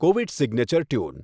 Covid signature tune